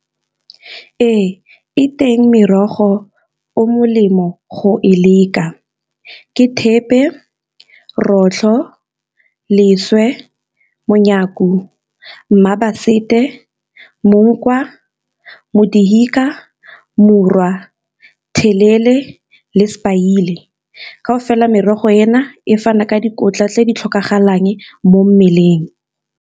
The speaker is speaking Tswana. Ee, e teng merogo o molemo go e leka ke thepe, rotlho, leswe, telele le ka o fela merogo ena e fana ka dikotla tse di tlhokagalang mo mmeleng.